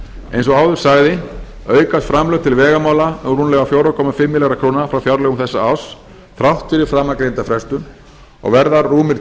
eins og áður sagði aukast framlög til vegamála um rúmlega fjögur komma fimm milljarða króna frá fjárlögum þessa árs þrátt fyrir framangreinda frestun og verða rúmir